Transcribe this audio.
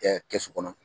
kɛsu kɔnɔ